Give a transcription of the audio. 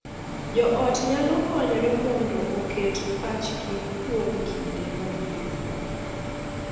Jo ot nyalo konyore mondo oket pachgi kuom kinde mabiro .